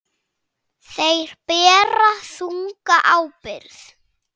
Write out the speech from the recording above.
Þeir bera þunga ábyrgð.